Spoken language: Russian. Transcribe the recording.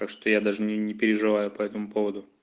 так что я даже не не переживаю по этому поводу